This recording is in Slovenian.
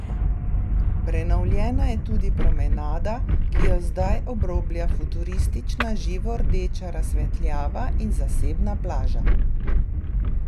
Prenovljena je tudi promenada, ki jo zdaj obroblja futuristična, živo rdeča razsvetljava, in zasebna plaža.